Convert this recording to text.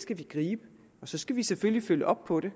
skal vi gribe og så skal vi selvfølgelig følge op på det